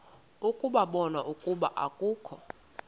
ukubona ukuba akukho